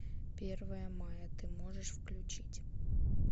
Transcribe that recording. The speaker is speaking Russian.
первое мая ты можешь включить